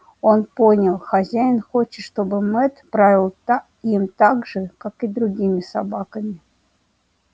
он понял хозяин хочет чтобы мэтт правил та им так же как и другими собаками